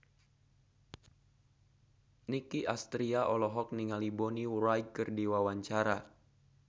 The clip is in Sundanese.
Nicky Astria olohok ningali Bonnie Wright keur diwawancara